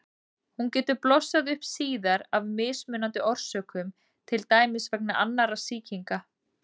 Hún getur blossað upp síðar af mismunandi orsökum, til dæmis vegna annarra sýkinga.